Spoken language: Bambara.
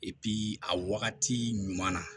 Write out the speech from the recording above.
a wagati ɲuman na